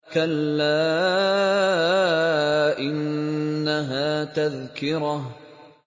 كَلَّا إِنَّهَا تَذْكِرَةٌ